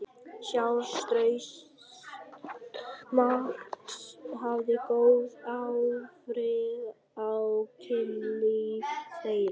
Sjálfstraust Marks hafði góð áhrif á kynlíf þeirra.